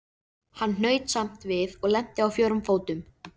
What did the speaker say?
Hann hnaut samt við og lenti á fjórum fótum.